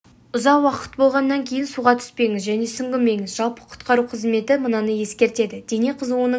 ұзақ уақыт болғаннан кейін суға түспеңіз және сүңгімеңіз жалпы құтқару қызметі мынаны ескертеді дене қызуының